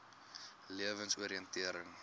lewensoriëntering